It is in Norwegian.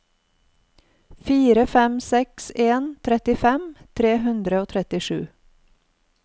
fire fem seks en trettifem tre hundre og trettisju